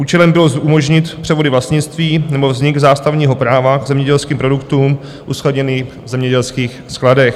Účelem bylo umožnit převody vlastnictví nebo vznik zástavního práva k zemědělským produktům uskladněným v zemědělských skladech.